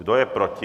Kdo je proti?